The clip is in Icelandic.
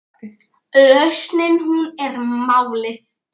Lausnin hún er málið.